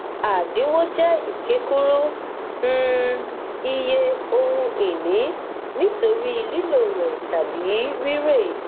àdínwó jẹ ìkékúrú um iye ohunìní nítorí lílò rẹ tàbí rírè